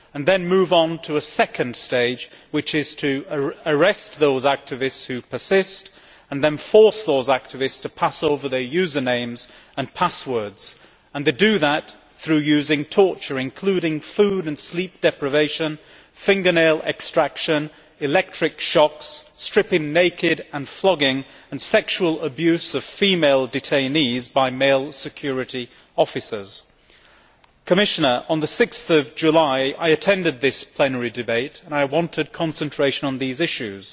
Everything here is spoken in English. It then moves on to a second stage, which is to arrest those activists who persist and then force those activists to pass over their usernames and passwords. They do that through the use of torture, including food and sleep deprivation, fingernail extraction, electric shocks, stripping naked and flogging and sexual abuse of female detainees by male security officers. On 6 July, I attended this plenary debate and I wanted concentration on these issues.